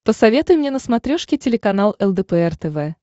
посоветуй мне на смотрешке телеканал лдпр тв